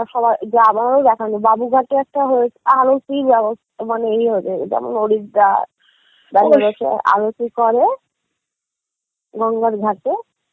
যা আমারও দেখা হয়নি বাবুঘাটে একটা হয়ে~ আরতি ব্যবস্থা মানে ইয়ে হয়েছে যেমন হরিদ্বার, বাবুঘাটে আরতি করে গঙ্গার ঘাটে